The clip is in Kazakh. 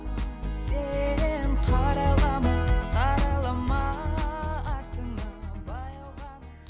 сен қарайлама қарайлама артыңа баяу ғана